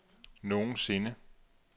nogensinde